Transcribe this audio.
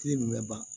nin bɛ ban